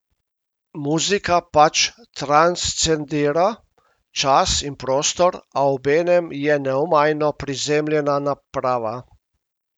Muzika pač transcendira čas in prostor, a obenem je neomajno prizemljena naprava.